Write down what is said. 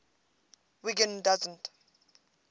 wiggin doesn t